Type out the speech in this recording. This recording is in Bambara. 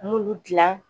N b'olu dilan